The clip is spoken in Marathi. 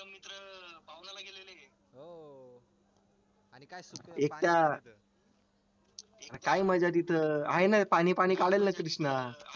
एकता काय मज्जा तिथं आहे ना पाणी पाणी काढलं ना कृष्णा